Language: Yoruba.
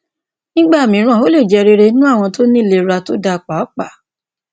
nígbà mìíràn ó lè jẹ rere nínú àwọn tó ní ìlera tó dáa pàápàá